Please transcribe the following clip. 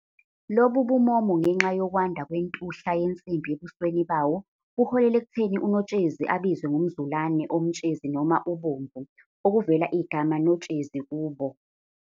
Lobu bumomo, ngenxa yokwanda kwentuhla yensimbi ebusweni bawo, buholele ekutheni uNotshezi abizwe ngomzulane omtshezi noma ubomvu, okuvela igama Notshezi kubo.